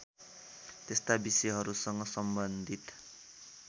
त्यस्ता विषयहरूसँग सम्बन्धित